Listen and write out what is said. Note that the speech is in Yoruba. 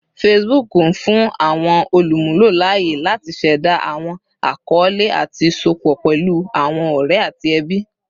Facebook n fun awọn olumulo laaye lati ṣẹda awọn akọọlẹ ati sopọ pẹlu awọn ọrẹ ati ẹbi